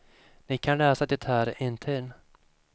Ni kan läsa det här intill.